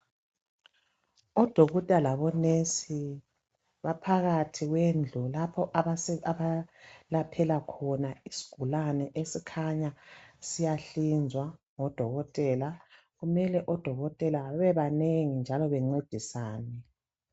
Odokotela labo"nurse" baphakathi kwendlu lapho abalaphela khona isigulane esikhanya siyahlinzwa ngodokotela. Kumele odokotela bebe banengi njalo bencedisane.